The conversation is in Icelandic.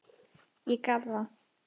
Ég gaf það.